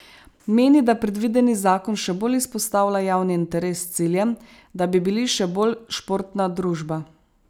Meni, da predvideni zakon še bolj izpostavlja javni interes s ciljem, da bi bili še bolj športna družba.